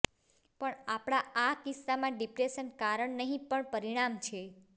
પણ આપણા આ કિસ્સામાં ડિપ્રેશન કારણ નહી પણ પરિણામ છે